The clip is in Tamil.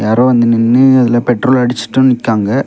அப்ரோ வந்து நின்னு அதுல பெட்ரோல் அடிச்சிட்டூ நிக்காங்க.